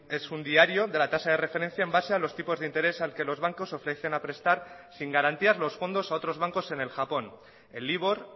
es un diario de la tasa de referencia en base a los tipos de interés al que los bancos ofrecen a prestar sin garantías los fondos a otros bancos en el japón el libor